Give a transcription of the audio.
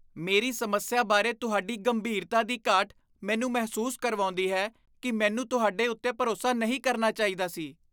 ਮੇਰੀ ਸਮੱਸਿਆ ਬਾਰੇ ਤੁਹਾਡੀ ਗੰਭੀਰਤਾ ਦੀ ਘਾਟ ਮੈਨੂੰ ਮਹਿਸੂਸ ਕਰਵਾਉਂਦੀ ਹੈ ਕਿ ਮੈਨੂੰ ਤੁਹਾਡੇ ਉੱਤੇ ਭਰੋਸਾ ਨਹੀਂ ਕਰਨਾ ਚਾਹੀਦਾ ਸੀ।